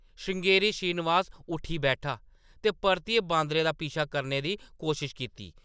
श्रृंगेरी श्रीनिवास उट्ठी बैठा ते परतियै बांदरै दा पीछा करने दी कोशश कीती ।